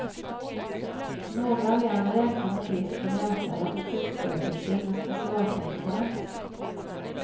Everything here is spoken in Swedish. Några län räknar med brist på läkare och sjuksköterskor med specialistkompetens.